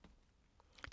DR P3